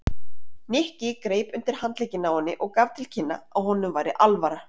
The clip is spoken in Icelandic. Nikki greip undir handlegginn á henni og gaf til kynna að honum væri alvara.